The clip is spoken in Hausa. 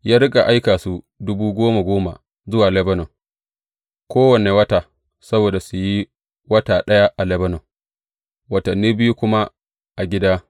Ya riƙa aika su dubu goma goma zuwa Lebanon kowane wata, saboda su yi wata ɗaya a Lebanon, watanni biyu kuma a gida.